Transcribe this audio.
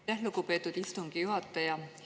Aitäh, lugupeetud istungi juhataja!